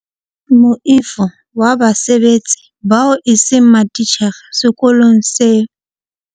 Moifo wa basebetsi bao eseng matitjhere sekolong seo.